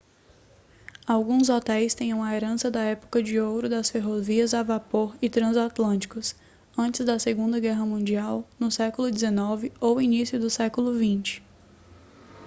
alguns hotéis têm uma herança da época de ouro das ferrovias a vapor e transatlânticos antes da segunda guerra mundial no século 19 ou início do século 20